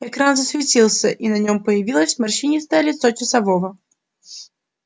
экран засветился и на нем появилось морщинистое лицо часового